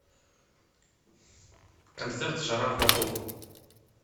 концерт жара в баку